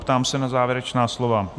Ptám se na závěrečná slova.